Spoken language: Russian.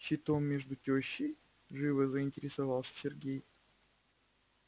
щитом между тёщей живо заинтересовался сергей